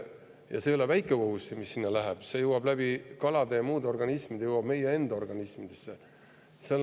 Ja see ei ole sugugi väike kogus, mis sinna läheb, see jõuab kalade ja muude organismide kaudu ka meie enda organismidesse.